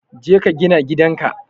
Jeka ka gina gidan ka.